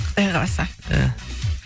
құдай қаласа иә